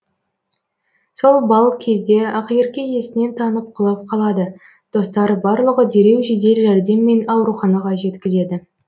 сол балл кезде ақерке есінен танып құлап қалады достары барлығы дереу жедел жәрдеммен ауруханаға жеткізеді